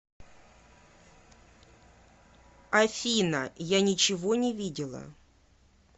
афина я ничего не видела